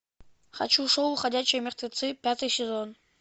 хочу шоу ходячие мертвецы пятый сезон